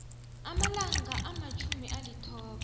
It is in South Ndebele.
amalanga amatjhumi alithoba